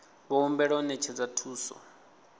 vho humbelwa u ṅetshedza thuso